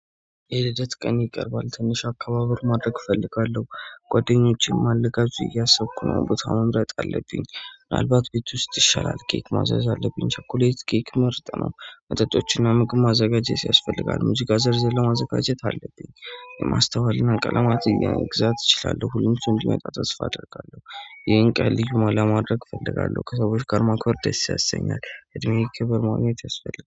የልደት ቀኔ ቀርብዋል ትንሽ አከባበር ማድረግ እፈልጋለሁ ጓደኞቼም ልጋብዝ እያሰብኩ ነው። ቦታ መምረጥ አለብኝ ምንዕልባት ቤት ውስጥ ይሻላል ኬክ ማዘዝ አለብኝ ቸኮሌት ኬክ ምርጥ ነው። መጠጦችንና ምግብ ማዘጋጀት ያስፈልጋል ሙዚቃ ዝርዝር ማዘጋጀት አለብኝ። የማስተዋልና ቀለማትን መግዛት እችላለሁ ሁሉም ሰው እንዲመጣ ተስፋ አደርጋለሁ። ይሄን ቀን ልዩ ለማድረግ እፈልጋለሁ ከሰዎች ጋር ማክበር ደስ ያሰኛል እድሜዬን ክብር ማግኘት ያስፈልጋል